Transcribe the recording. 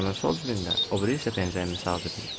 Biri şalvarımın sol cibində, o biri isə pencəyimin sağ cibində.